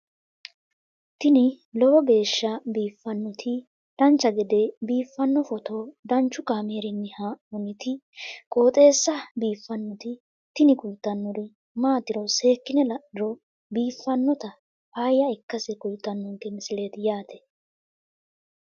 tini lowo geeshsha biiffannoti dancha gede biiffanno footo danchu kaameerinni haa'noonniti qooxeessa biiffannoti tini kultannori maatiro seekkine la'niro biiffannota faayya ikkase kultannoke misileeti yaate